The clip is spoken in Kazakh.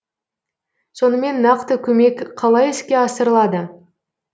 сонымен нақты көмек қалай іске асырылады